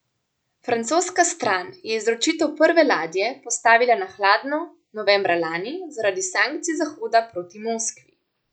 Francoska stran je izročitev prve ladje postavila na hladno novembra lani zaradi sankcij Zahoda proti Moskvi.